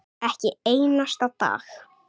Ekki einn einasta dag.